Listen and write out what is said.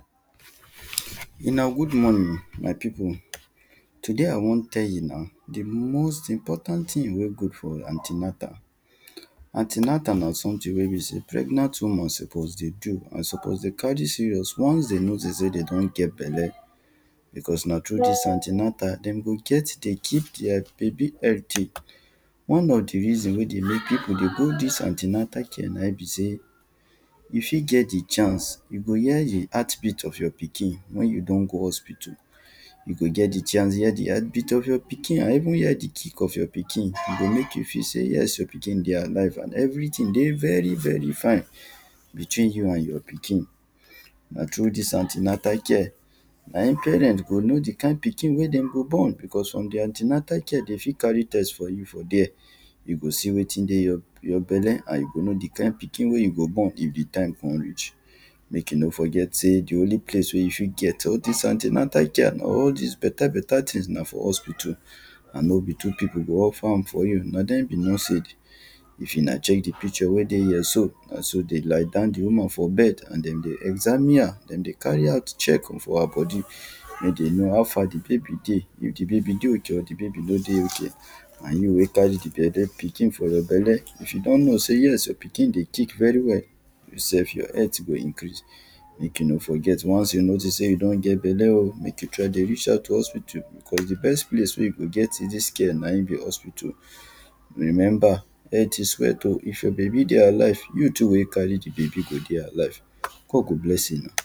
Una good morning my people, today I wan tell una, di most important thing wey good for anti-natal, anti-natal na something wey e be sey, pregnant woman suppose dey do and suppose dey carry serious, once dem notice sey dem don get belle, because na through dis anti-natal dem go get to keep their one of di reason wey dey make people go dis anti-natal care na im be sey, you fit get di chance, you go hear di heartbeat of your pikin wen you don go hospital. You go get di chance, hear di heartbeat of your pikin and even hear di kickof your pikin, e go make you feel sey your pikin dey alive and everything dey very very fine, between you and your pikin. Na through dis anti-natal care, na im parent go know di kin pikin wey dem go born. Because from di anti-natal care, dem fit carry do test for you there, you go see wetin dey your your belle. And you go know di type pikin wey you go born if di time come reach. Make you no forget sey, di only place wen you fit get all dis anti-natal care and all dis better better things, na for hospital. And no be two people go offer am for you, na dem be if una check di picture wen dey here so, na so dem lie down di woman for bed and dem dey examine her, dem dey carry out checking for her body, make dem know how far di baby dey, if di baby dey okay, or if di baby no dey okay. And you wen carry di, pikin for your belle, if you don know sey yes, your pikin dey kick very well, you self your health go increase. Make you no forget once you notice sey, you don get belle oh, make you try dey reach out to hospital, because di best place wen you go get dis care, na im be hospital. Remember, health is wealth oh, if your baby dey alive, you too wen carry di baby go dey alive. God go bless una.